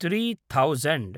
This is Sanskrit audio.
three thousand